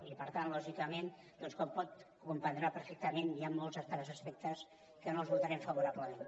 i per tant lògicament com comprendrà perfectament hi han molts altres aspectes que no els votarem favorablement